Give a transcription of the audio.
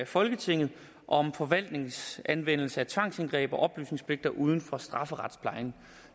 folketinget om forvaltningens anvendelse af tvangsindgreb og oplysningspligter uden for strafferetsplejen